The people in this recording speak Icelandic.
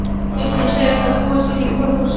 Systurnar segjast hafa búið sín í hvoru húsi.